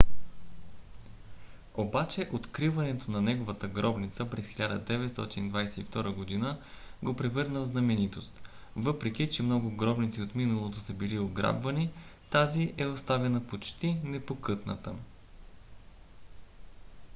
обаче откриването на неговата гробница през 1922 г. го превърна в знаменитост. въпреки че много гробници от миналото са били ограбвани тази е оставена почти непокътната